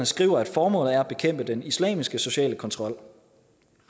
skriver at formålet er at bekæmpe den islamiske sociale kontrol